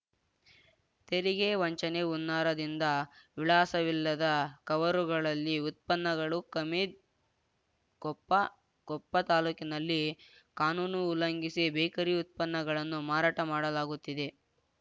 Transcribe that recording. ತೆರಿಗೆ ವಂಚನೆ ಹುನ್ನಾರದಿಂದ ವಿಳಾಸವಿಲ್ಲದ ಕವರುಗಳಲ್ಲಿ ಉತ್ಪನ್ನಗಳು ಕಮೀದ್‌ ಕೊಪ್ಪ ಕೊಪ್ಪ ತಾಲೂಕಿನಲ್ಲಿ ಕಾನೂನು ಉಲ್ಲಂಘಿಸಿ ಬೇಕರಿ ಉತ್ಪನ್ನಗಳನ್ನು ಮಾರಾಟ ಮಾಡಲಾಗುತ್ತಿದೆ